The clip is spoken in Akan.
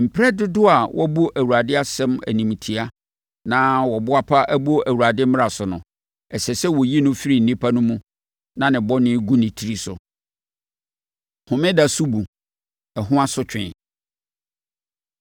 Mperɛ dodoɔ a wɔabu Awurade asɛm animtiaa na wɔboapa abu Awurade mmara so no, ɛsɛ sɛ wɔyi no firi nnipa no mu na ne bɔne gu ne tiri so.’ ” Homeda Sobu, Ɛho Asotwe